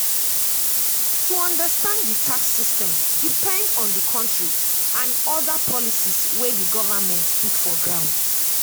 to understand di tax system depend on di country and oda policies wey di governement put for ground